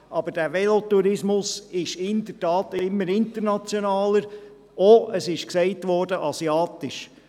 Aber dieser Velotourismus wird in der Tat immer internationaler, und auch, wie gesagt wurde, asiatischer.